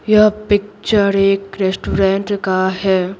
यह पिक्चर एक रेस्टोरेंट का है।